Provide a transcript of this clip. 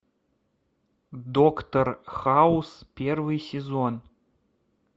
доктор хаус первый сезон